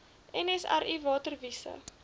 nsri water wise